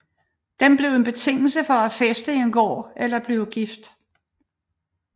Den blev en betingelse for at fæste en gård eller blive gift